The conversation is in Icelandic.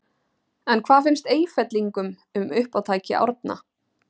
En hvað finnst Eyfellingum um uppátæki Árna?